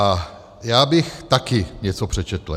A já bych taky něco přečetl.